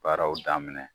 Baaraw daminɛ